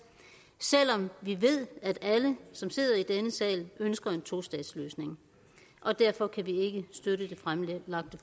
selv om vi ved at alle som sidder i denne sal ønsker en tostatsløsning og derfor kan vi ikke støtte det fremsatte